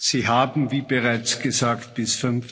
Sie haben, wie bereits gesagt, bis